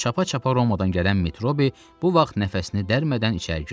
Çapa-çapa Romadan gələn Metrobi bu vaxt nəfəsini dərmədən içəri girdi.